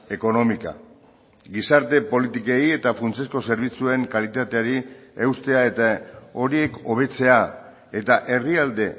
económica gizarte politikei eta funtsezko zerbitzuen kalitateari eustea eta horiek hobetzea eta herrialde